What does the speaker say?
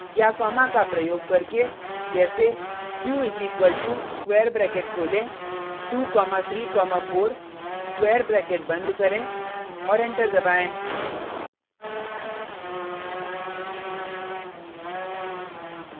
या कॉमा का प्रयोग करके जैसे q is equal to square bracket खोलें 2 कॉमा 3 कॉमा 4 स्क्वायर ब्रैकेट बंद करें और एंटर दबाएँ